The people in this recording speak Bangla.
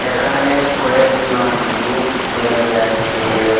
এখানে কয়েকজন লোক দেখা যাচ্ছে।